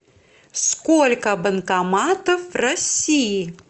сколько банкоматов в россии